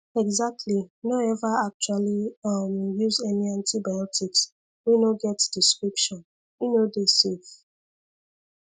exactly no ever actually um use any antibiotics wey no get description e no dey safe